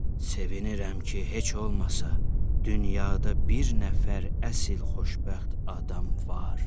Sevinirəm ki, heç olmasa dünyada bir nəfər əsl xoşbəxt adam var.